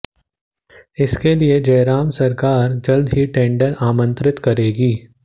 इसके लिए जयराम सरकार जल्द ही टेंडर आमंत्रित करेगी